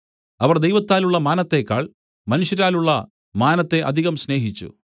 അവർ ദൈവത്താലുള്ള മാനത്തേക്കാൾ മനുഷ്യരാലുള്ള മാനത്തെ അധികം സ്നേഹിച്ചു